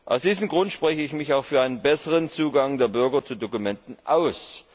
Aus diesem Grund spreche ich mich auch für einen besseren Zugang der Bürger zu Dokumenten aus.